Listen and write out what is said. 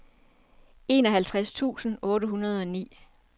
enoghalvtreds tusind otte hundrede og ni